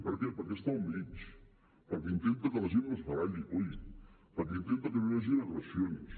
per què perquè està al mig perquè intenta que la gent no es baralli coi perquè intenta que no hi hagin agressions